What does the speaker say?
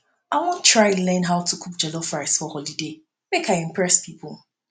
i wan try learn how to cook jollof rice for holiday make i impress pipo